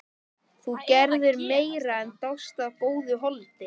Þú gerðir meira en dást að góðu holdi.